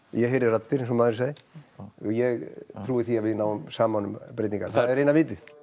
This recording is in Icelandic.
ég heyri raddir eins og maðurinn sagði og ég trúi því að við náum saman um breytingar það er eina vitið